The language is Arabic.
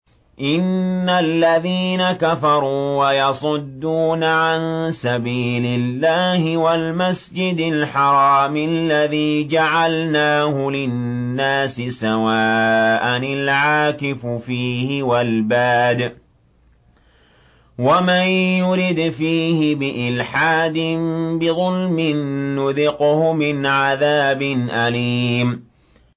إِنَّ الَّذِينَ كَفَرُوا وَيَصُدُّونَ عَن سَبِيلِ اللَّهِ وَالْمَسْجِدِ الْحَرَامِ الَّذِي جَعَلْنَاهُ لِلنَّاسِ سَوَاءً الْعَاكِفُ فِيهِ وَالْبَادِ ۚ وَمَن يُرِدْ فِيهِ بِإِلْحَادٍ بِظُلْمٍ نُّذِقْهُ مِنْ عَذَابٍ أَلِيمٍ